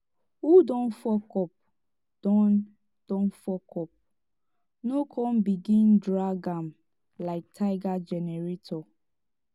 who don fuck up don don fuck up no con begin drag am lyk tiger generator